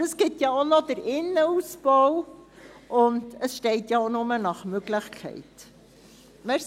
Aber es gibt auch noch den Innenausbau, und es steht ja auch nur «nach Möglichkeit».